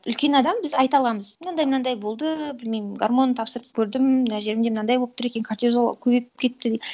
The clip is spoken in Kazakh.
үлкен адам біз айта аламыз мынандай мынандай болды білмеймін гормон тапсырып көрдім мына жерімде мынандай болып тұр екен кортизол көбейіп кетіпті деп